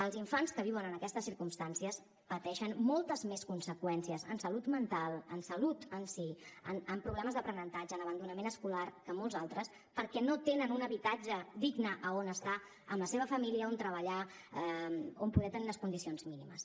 els infants que viuen en aquestes circumstàncies pateixen moltes més conseqüències en salut mental en salut en si en problemes d’aprenentatge en abandonament escolar que molts altres perquè no tenen un habitatge digne a on estar amb la seva família a on treballar on poder tenir unes condicions mínimes